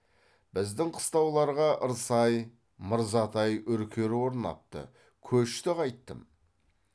біздің қыстауларға ьірсай мырзатай үркер орнапты көшті қайттім